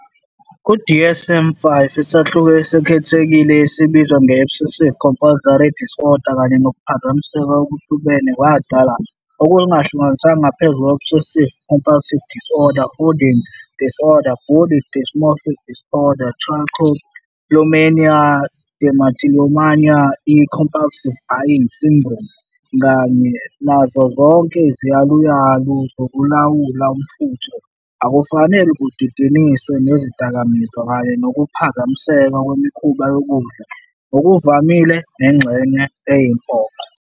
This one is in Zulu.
Ku-DSM-5, isahluko esikhethekile esibizwa nge "-Obsessive-compulsive disorders kanye nokuphazamiseka okuhlobene" kwadalwa, okuhlanganisa ngaphezu kwe-obsessive-compulsive disorder, hoarding disorder, body dysmorphic disorder, trichotillomania, dermatillomania, excoriation disorder, i-compulsive buying syndrome. kanye nazo zonke iziyaluyalu zokulawula umfutho, akufanele kudidaniswe nezidakamizwa kanye nokuphazamiseka kwemikhuba yokudla, ngokuvamile nengxenye eyimpoqo.